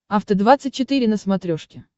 афта двадцать четыре на смотрешке